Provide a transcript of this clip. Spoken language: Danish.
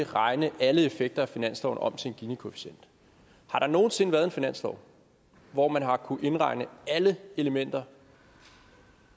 regne alle effekter af finansloven om til en ginikoefficient har der nogen sinde været en finanslov hvor man har kunnet indregne alle elementer